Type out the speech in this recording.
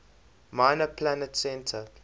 minor planet center